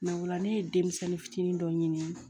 o la ne ye denmisɛnnin fitinin dɔ ɲini